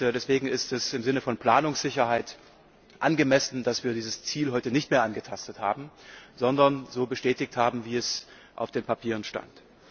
Deswegen ist es im Sinne von Planungssicherheit angemessen, dass wir dieses Ziel heute nicht mehr angetastet haben, sondern so bestätigt haben, wie es auf den Papieren stand.